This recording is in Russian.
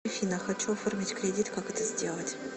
афина хочу оформить кредит как это сделать